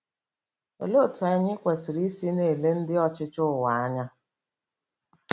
Olee otú anyị kwesịrị isi na-ele ndị ọchịchị ụwa anya?